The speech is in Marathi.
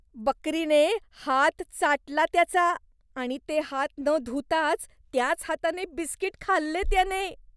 बकरीने हात चाटला त्याचा आणि ते हात न धुताच त्याच हाताने बिस्कीट खाल्ले त्याने.